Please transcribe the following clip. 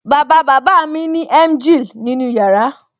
Bàbá bàbá mi ní emgyl nínú yàrá